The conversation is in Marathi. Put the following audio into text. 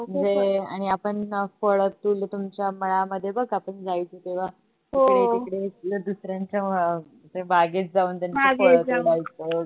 म्हणजे आणि आपण फळ, फुल तुमच्या मळामध्ये बघ आपण जायचो तेव्हा इकडे तिकडे दुसऱ्यांच्या अं बागेत जाऊन त्याचं फळ तोडायचं वगरे